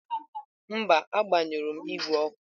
Mba, agbanyụrụ m igwe ọkụ.